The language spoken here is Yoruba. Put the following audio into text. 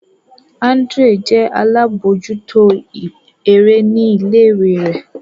Andrew jẹ alabojuto ere ni ile-iwe rẹ.